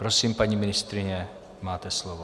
Prosím, paní ministryně, máte slovo.